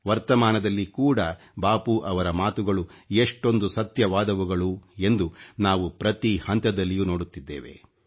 ವರ್ತಮಾನದಲ್ಲಿ ಕೂಡ ಬಾಪೂರವರ ಮಾತುಗಳು ಎಷ್ಟೊಂದು ಸತ್ಯವಾದವುಗಳು ಎಂದು ನಾವು ಪ್ರತಿ ಹಂತದಲ್ಲಿಯೂ ನೋಡುತ್ತಿದ್ದೇವೆ